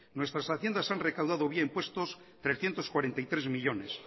nuestras haciendas han recaudado vía impuestos trescientos cuarenta y tres millónes